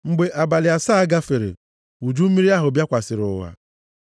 Mgbe abalị asaa gafere, uju mmiri ahụ bịakwasịrị ụwa.